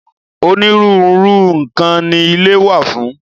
Onírúurú nǹkan ni ilé wà fún.